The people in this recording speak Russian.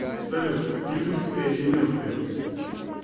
салют фильмы с эдди мерфи